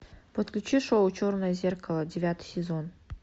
подключи шоу черное зеркало девятый сезон